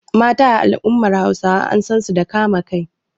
Mata a al’ummar Hausawa an san su da kama kai.